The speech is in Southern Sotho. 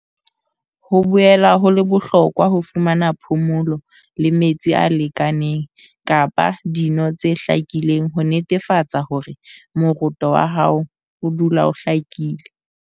"Ho boela ho le bohlokwa ho fumana phomolo le metsi a lekaneng kapa dino tse hlakileng ho netefatsa hore moroto wa hao odula o hlakile."